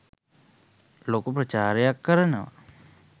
ලොකු ප්‍රචාරයක් කරනවා